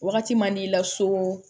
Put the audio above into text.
Wagati man di la so